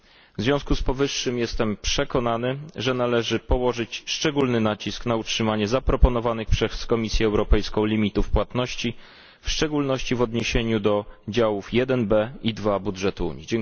W związku z powyższym jestem przekonany, że należy położyć szczególny nacisk na utrzymanie zaproponowanych przez Komisję Europejską limitów płatności, w szczególności w odniesieniu do działów 1b i 2 budżetu Unii.